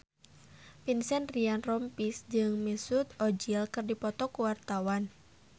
Vincent Ryan Rompies jeung Mesut Ozil keur dipoto ku wartawan